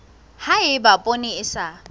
ha eba poone e sa